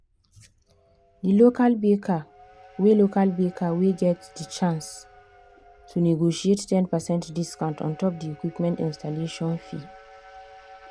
the local baker wey local baker wey get the chance to negotiate ten percent discount ontop the equipment installation fee.